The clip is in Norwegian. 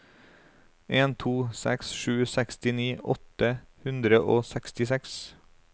en to seks sju sekstini åtte hundre og sekstiseks